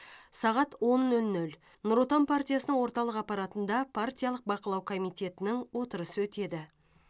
сағат он нөл нөл нұр отан партиясының орталық аппаратында партиялық бақылау комитетінің отырысы өтеді